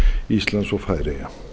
íslands og færeyja